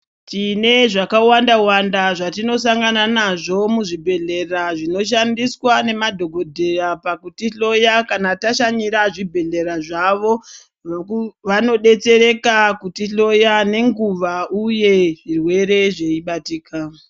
Tine zvaka wanda wanda zvatino sangana nazvo mu zvibhedhlera zvino shandiswa ne madhokodheya pakuti hloya kana tashanyira zvi bhedhlera zvavo vano detsereka kuti hloya ne nguva uye zvirwere zvei batika.